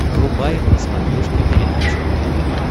врубай на смотрешке передачу нтв